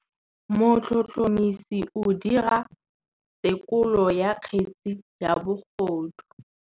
Motlhotlhomisi o dira têkolô ya kgetse ya bogodu.